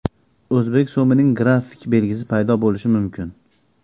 O‘zbek so‘mining grafik belgisi paydo bo‘lishi mumkin.